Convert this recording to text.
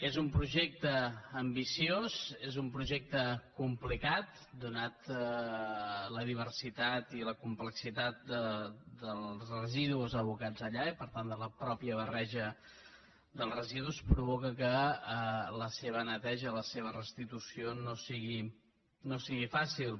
és un projecte ambiciós és un projecte complicat donada la diversitat i la complexitat dels residus abocats allà i per tant la mateixa barreja dels residus provoca que la seva neteja i la seva restitució no siguin fàcils